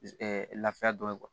lafiya dɔ ye kuwa